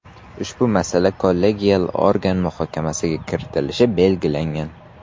Ushbu masala kollegial organ muhokamasiga kiritilishi belgilangan.